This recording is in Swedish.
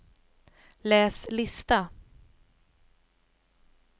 läs lista